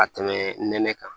Ka tɛmɛ nɛnɛ kan